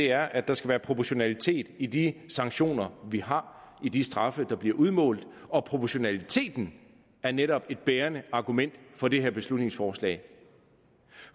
er at der skal være proportionalitet i de sanktioner vi har i de straffe der bliver udmålt og proportionaliteten er netop et bærende argument for det her beslutningsforslag